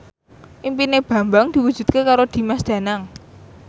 impine Bambang diwujudke karo Dimas Danang